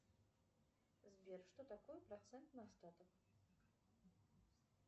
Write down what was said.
сбер что такое процент на остаток